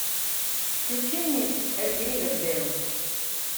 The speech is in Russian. включи мне ривердэйл